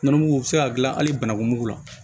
Nɔnɔmugu bɛ se ka dilan hali banakun mugu la